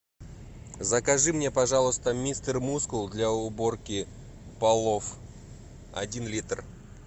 закажи мне пожалуйста мистер мускул для уборки полов один литр